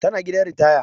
Tana gidan ritaya